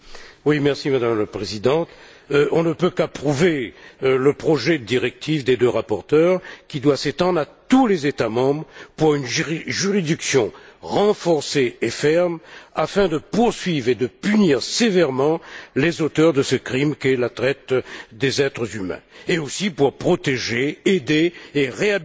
Madame la Présidente, on ne peut qu'approuver le projet de directive des deux rapporteures qui doit s'étendre à tous les États membres pour une juridiction renforcée et ferme afin de poursuivre et de punir sévèrement les auteurs de ce crime qui est la traite des êtres humains, et aussi, pour protéger, aider et réhabiliter